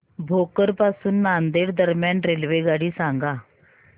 भोकर पासून नांदेड दरम्यान रेल्वेगाडी सांगा